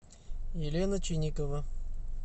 елена чиникова